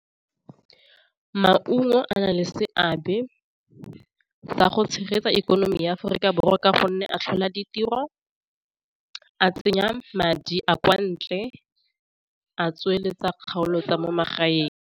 Maungo a na le seabe sa go tshegetsa ikonomi ya Aforika Borwa ka gonne a tlhola ditiro, a tsenya madi a kwa ntle a tsweletsa kgaolo tsa mo magaeng.